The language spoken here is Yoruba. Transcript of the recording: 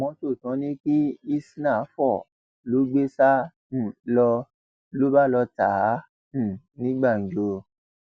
mọtò tí wọn ní kí isnah fò lọ gbé sá um lọ ló bá lọọ ta á um ní gbàǹjo